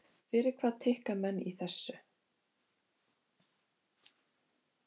Fyrir hvað tikka menn í þessu?